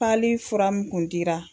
fura mun kun dira